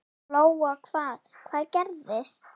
Lóa: Hvað, hvað gerðist?